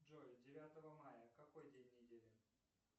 джой девятого мая какой день недели